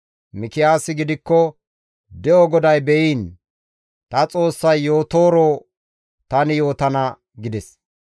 Mikiyaasi gidikko, «De7o GODAY be7iin, ta Xoossay yootooro tani yootana» gides.